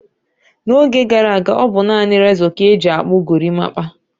N'oge gara aga, ọ bụ naanị rezọ ka e ji akpụ gorimapa.